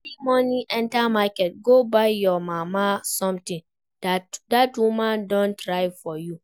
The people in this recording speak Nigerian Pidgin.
Carry money enter market go buy your mama something, dat woman don try for you